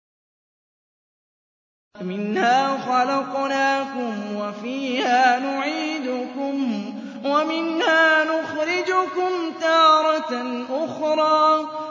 ۞ مِنْهَا خَلَقْنَاكُمْ وَفِيهَا نُعِيدُكُمْ وَمِنْهَا نُخْرِجُكُمْ تَارَةً أُخْرَىٰ